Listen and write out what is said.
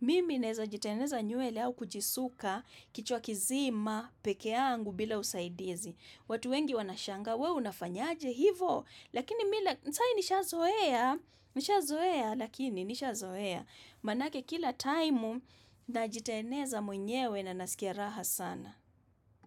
Mimi naweza jitengeneza nywele au kujisuka kichwa kizima pekee yangu bila usaidizi. Watu wengi wanashangaa, weu unafanya aje hivo. Lakini mila, sai nishazoea, nishazoea, lakini nishazoea. Manake kila time najitengeneza mwenyewe na nasikia raha sana.